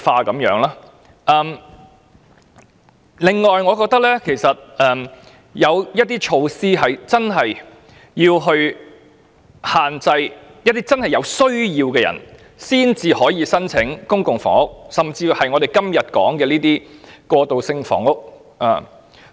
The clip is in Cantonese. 我認為，政府真的應該推出措施加以限制，例如規定有真正需要的市民才可以申請公屋，甚或是我們今天討論的過渡性房屋。